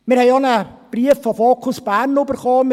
Wir haben auch von «Fokus Bern» einen Brief erhalten;